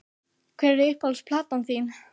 Hver er uppáhalds platan þín?